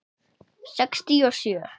Sextíu og sjö.